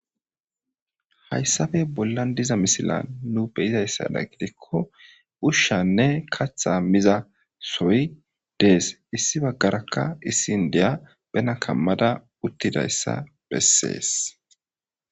hayssafe bollan diza misila nu beyizayssada gidikko ushshanne katha miza soy dees issi baggarakka issin deya bena kammada uttidayssa bessees